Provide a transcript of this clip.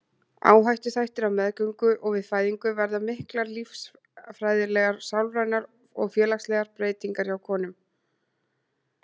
Áhættuþættir Á meðgöngu og við fæðingu verða miklar lífeðlisfræðilegar, sálrænar og félagslegar breytingar hjá konum.